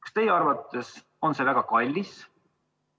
Kas teie arvates on see väga kallis?